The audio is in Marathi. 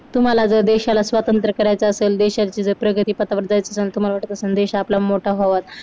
तुम्हाला देशाला स्वातंत्र्य करायचं असल देशाची प्रगती पथावर जायचं असे तुम्हाला वाटत असेल देश आपला मोठा व्हावा.